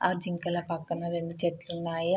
ఆ జింకల పక్కన రెండు చెట్లున్నాయి.